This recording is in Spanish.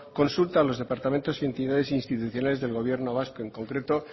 consulta a los departamentos y entidades institucionales del gobierno vasco en concreto